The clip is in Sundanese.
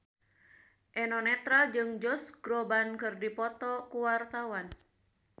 Eno Netral jeung Josh Groban keur dipoto ku wartawan